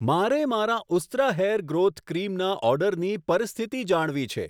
મારે મારા Ustraa hair growth ક્રીમના ઓર્ડરની પરિસ્થિતિ જાણવી છે.